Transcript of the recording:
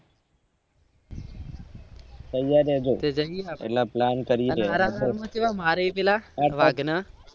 તૈયાર રેજો પેલા તરીકે છેવા